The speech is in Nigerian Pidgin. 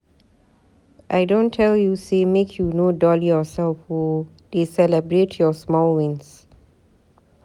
I don tell you say make you no dull yourself o, dey celebrate your small wins.